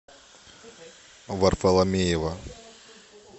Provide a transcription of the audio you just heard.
варфоломеева